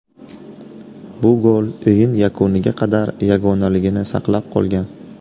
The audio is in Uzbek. Bu gol o‘yin yakuniga qadar yagonaligini saqlab qolgan.